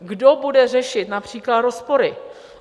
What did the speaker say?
Kdo bude řešit například rozpory?